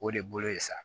O de bolo ye sa